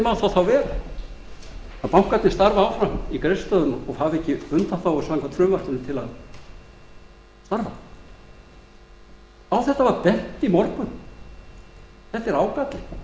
má það vera að bankarnir starfi áfram í greiðslustöðvun og hafi ekki undanþágu samkvæmt frumvarpinu til að starfa á þetta var bent í morgun þetta er ágalli